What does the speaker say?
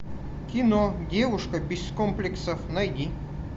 кино девушка без комплексов найди